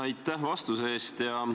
Aitäh vastuse eest!